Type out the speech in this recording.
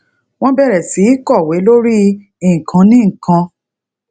wọn bẹrẹ sí í kọwé lórí ìkànnì kan